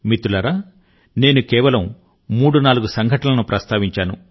మిత్రులారా నేను కేవలం మూడు నాలుగు సంఘటనలను ప్రస్తావించాను